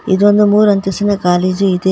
ಇದೊಂದು ಮೂರು ಅಂತಸ್ತಿನ ಕಾಲೇಜು ಇದೆ.